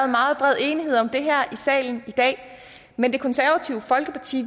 meget bred enighed om det her i salen i dag men det konservative folkeparti